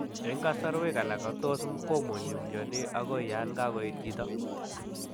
En kasarwek alak tos komonyi myoni agoi yan kagoet chito